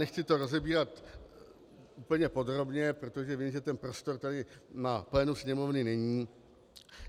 Nechci to rozebírat úplně podrobně, protože vím, že ten prostor tady na plénu Sněmovny není.